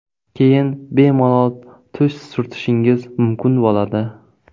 Keyin bemalol tush surtishingiz mumkin bo‘ladi.